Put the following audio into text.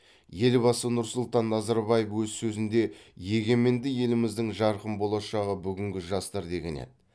елбасы нұрсұлтан назарбаев өз сөзінде егеменді еліміздің жарқын болашағы бүгінгі жастар деген еді